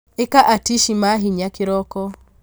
ĩka atici ma hinya kĩroko